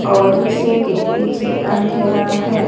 और इसी के पीछे अंधेरा है।